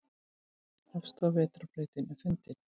Elsta vetrarbrautin fundin